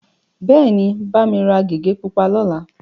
Bẹ́ẹ̀ni, bá mi ra gègé pupa lọ́la.